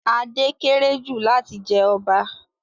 Ade kéré jù láti jẹ ọba